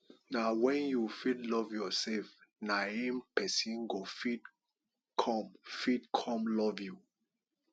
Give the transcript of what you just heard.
na wen you fit love yourself na em pesin go fit come fit come love you